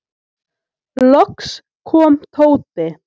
Loks kom Tóti.